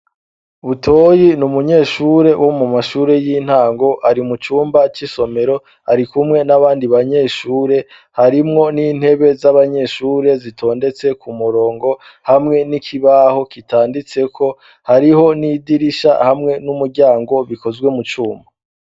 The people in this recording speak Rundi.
Butoyi ni umunyeshure wo mu mashure y'intango ari mu cumba c'isomero ari kumwe n'abandi banyeshure harimwo n'intebe z'abanyeshure zitondetse ku murongo hamwe n'ikibaho kitanditseko hariho n'idirisha hamwe n'umuryango bikozwe mu cuma.